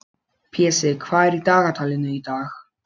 Pési, hvað er á dagatalinu í dag?